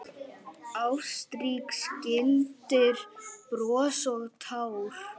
Ástrík skildir bros og tár.